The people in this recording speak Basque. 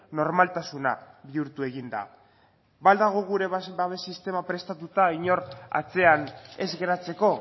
normaltasuna bihurtu egin da ba al dago gure babes sistema prestatuta inor atzean ez geratzeko